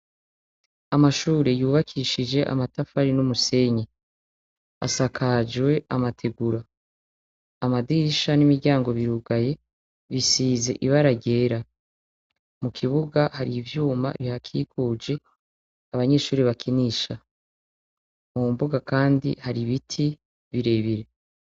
Amashure yubakishije amatafari n'umusenyi asakajwe amategura, amadirisha n'imiryango birugaye bisize ibara ryera, mukibuga hari ivyuma bihakijuje abanyeshure bakinisha, mu mbuga kandi hari ibiti birebire.